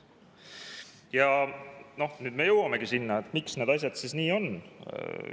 Ja nüüd me jõuamegi sinna, miks need asjad nii on.